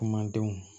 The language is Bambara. Kumadenw